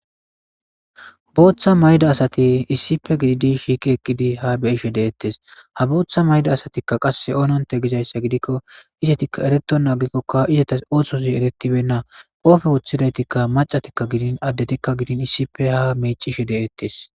booththa mayda asati issipe gididi shiiki eqqidi ha beishe deettes ha booththa mayda asatikka qasse oononte gizayssa gidikko izetikka ereto naagikkokka izetas ooththozi eretibenna qoofe woththidaytikka macatikka gidin addetikka gidin issipe ha meecishe de7ettes